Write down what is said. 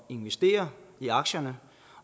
investere i aktierne